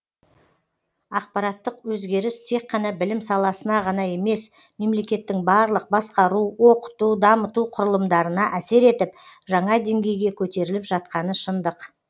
ақпараттық өзгеріс тек қана білім саласына ғана емес мемлекеттің барлық басқару оқыту дамыту құрылымдарына әсер етіп жаңа деңгейге көтеріліп жатқаны шындық